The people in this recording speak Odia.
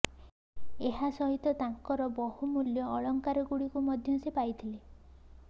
ଏହା ସହିତ ତାଙ୍କର ବହୁମୂଲ୍ୟ ଅଳଙ୍କାରଗୁଡ଼ିକୁ ମଧ୍ୟ ସେ ପାଇଥିଲେ